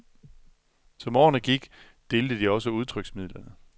Som årene gik, delte de også udtryksmidlerne.